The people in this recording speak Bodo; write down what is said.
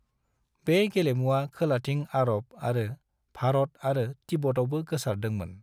बे गेलेमुआ खोलाथिं अरब आरो भारत आरो तिब्बतआवबो गोसारदों मोन।